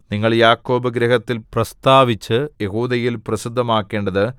നിങ്ങൾ യാക്കോബ് ഗൃഹത്തിൽ പ്രസ്താവിച്ച് യെഹൂദയിൽ പ്രസിദ്ധമാക്കേണ്ടത്